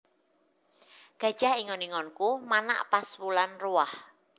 Gajah ingon ingonku manak pas wulan ruwah